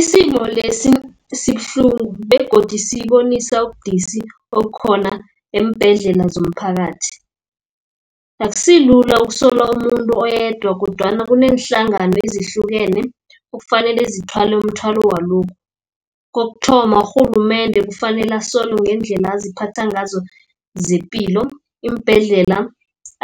Isimo lesi sibuhlungu, begodu sibonisa ubudisi obukhona eembhedlela zomphakathi. Akusi lula ukusola umuntu oyedwa, kodwana kuneenhlangano ezihlukene okufanele zithwale umthwalo walokhu. Kokuthoma urhulumende kufanele asolwe ngendlela aziphatha ngazo zepilo, iimbhedlela,